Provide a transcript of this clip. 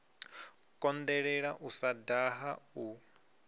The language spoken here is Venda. konḓelela u sa daha u